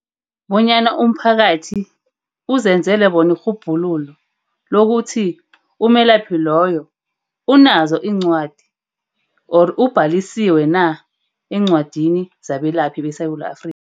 Bonyana umphakathi uzenzele bona irhubhululo lokuthi umelaphi loyo unazo iincwadi or ubhalisiwe na, encwadini zabelaphi beSewula Afrika.